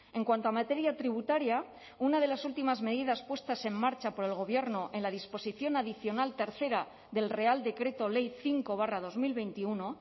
en cuanto a materia tributaria una de las últimas medidas puestas en marcha por el gobierno en la disposición adicional tercera del real decreto ley cinco barra dos mil veintiuno